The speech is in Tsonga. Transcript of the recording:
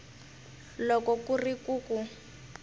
loko ku ri ku ku